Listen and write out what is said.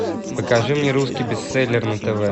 покажи мне русский бестселлер на тв